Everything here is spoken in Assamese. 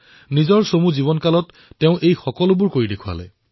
তেওঁৰ অল্পদিনীয়া জীৱনতেই সকলোখিনি কৰি দেখুৱাইছিল